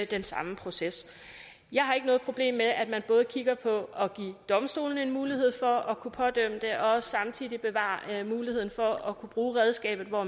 den samme proces jeg har ikke noget problem med at man både kigger på at give domstolene en mulighed for at kunne pådømme det og også samtidig bevarer muligheden for at kunne bruge redskabet hvor